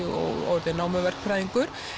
og orðið námuverkfræðingur